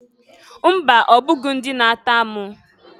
Mba! Ọbụghị ndị na-atọ amụ.